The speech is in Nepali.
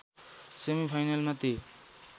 सेमिफाइनलमा ती